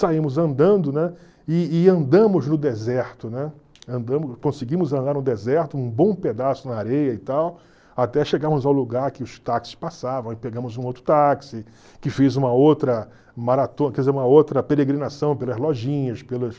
Saímos andando, né, e e andamos no deserto, né, conseguimos andar no deserto, um bom pedaço na areia e tal, até chegarmos ao lugar que os táxis passavam e pegamos um outro táxi, que fez uma outra maratona, quer dizer, uma outra peregrinação pelas lojinhas, pelas...